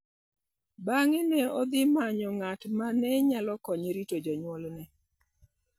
Bang'e ne odhi manyo ng'at ma ne nyalo konye rito jonyuolne.